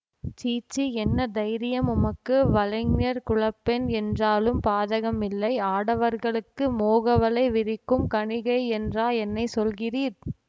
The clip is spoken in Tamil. சீச்சீ என்ன தைரியம் உமக்கு வலைஞர் குலப்பெண் என்றாலும் பாதகமில்லை ஆடவர்களுக்கு மோகவலை விரிக்கும் கணிகை என்றா என்னை சொல்கிறீர்